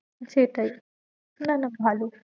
সেটাই না না ভালো